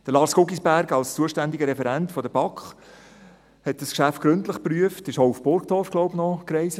Lars Guggisberg als zuständiger Referent der BaK hat dieses Geschäft gründlich geprüft und ist, glaube ich, auch nach Burgdorf gereist.